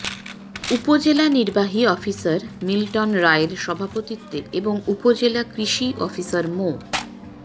উপজেলা নির্বাহী অফিসার মিল্টন রায়ের সভাপতিত্বে এবং উপজেলা কৃষি অফিসার মো